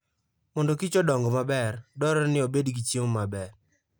Mondo kich odong maber, dwarore ni obed gi chiemo maber.